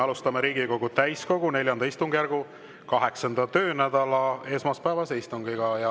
Alustame Riigikogu täiskogu IV istungjärgu 8. töönädala esmaspäevast istungit.